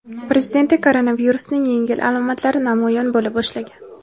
Prezidentda koronavirusning yengil alomatlari namoyon bo‘la boshlagan.